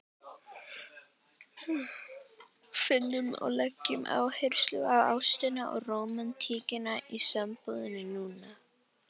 Finnum og leggjum áherslu á ástina og rómantíkina í sambúðinni núna!